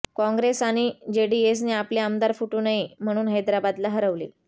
काँग्रेस आणि जेडीएसने आपले आमदार फुटू नये म्हणून हैदराबादला हलवले